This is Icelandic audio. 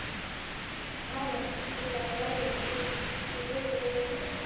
Alena, spilaðu lagið „Út í veður og vind“.